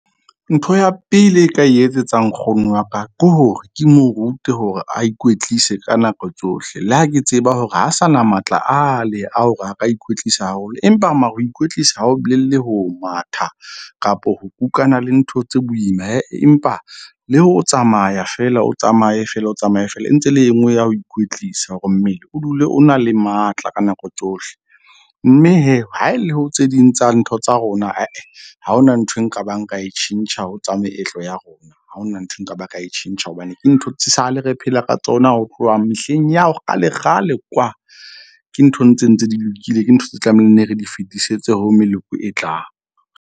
Ntho ya pele e ka etsetsa nkgono wa ka ke hore ke mo rute hore a ikwetlise ka nako tsohle. Le ha ke tseba hore ha sa na matla ale a hore a ka ikwetlisa haholo. Empa mare ho ikwetlisa ha ho bolele ho matha kapo ho kukana le ntho tse boima . Empa le ho tsamaya feela, o tsamaye feela, o tsamaye feela e ntse le e nngwe ya ho ikwetlisa hore mmele o dule o na le matla ka nako tsohle. Mme ha e le ho tse ding tsa ntho tsa rona . Ha hona nthwe nka ba nka e tjhentjha ho tsa meetlo ya rona, ha hona nthwe nka ba ka e tjhentjha hobane ke ntho tse sale re phela ka tsona ho tloha mehleng ya kgale, kgale kwa. Ke nthong tse ntse di lokile. Ke ntho tse tlamehileng neng re di fetisetse ho meloko e tlang.